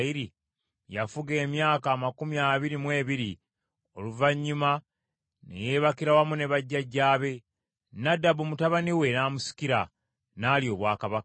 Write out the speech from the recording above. Yafugira emyaka amakumi abiri mu ebiri, oluvannyuma ne yeebakira wamu ne bajjajjaabe; Nadabu mutabani we n’amusikira, n’alya obwakabaka.